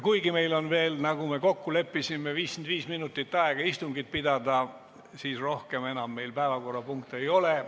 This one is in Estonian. Kuigi meil on veel, nagu me kokku leppisime, 55 minutit aega istungit pidada, siis rohkem päevakorrapunkte ei ole.